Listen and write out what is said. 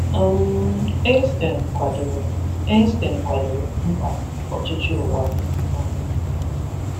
um Einstein kwadoro Einstein kwadoro mkpa ọchịchị ụwa um